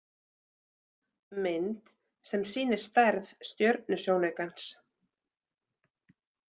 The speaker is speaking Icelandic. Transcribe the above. Mynd sem sýnir stærð stjörnusjónaukans.